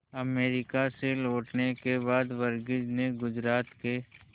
America से लौटने के बाद वर्गीज ने गुजरात के